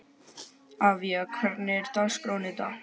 Avía, hvernig er dagskráin í dag?